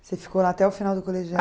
Você ficou lá até o final do colegial?